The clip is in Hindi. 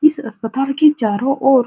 इस अस्पतल के चारो ओर --